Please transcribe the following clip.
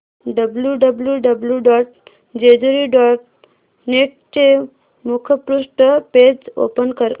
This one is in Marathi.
W W W dot Jejuri dot net चे मुखपृष्ठ पेज ओपन कर